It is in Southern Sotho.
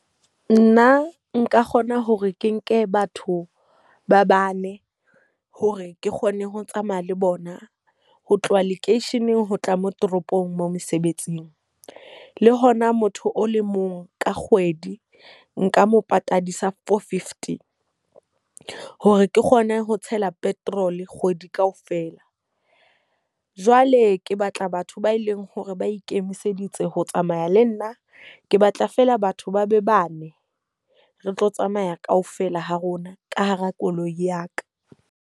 Nna nka kgona hore ke nke batho ba bane hore ke kgone ho tsamaya le bona ho tloha lekeisheneng ho tla mo toropong mo mosebetsing. Le hona motho o le mong ka kgwedi nka mo patadisa four fifty, hore ke kgone ho tshela petrol kgwedi kaofela. Jwale ke batla batho ba e leng hore ba ikemiseditse ho tsamaya le nna. Ke batla fela batho ba be bane. Re tlo tsamaya kaofela ha rona ka hara koloi ya ka.